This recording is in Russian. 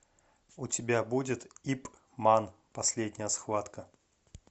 у тебя будет ип ман последняя схватка